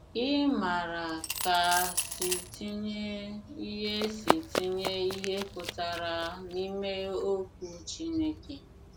Ị maara ka ‘ si tinye ihe si tinye ihe pụtara n'ime ’okwu Chineke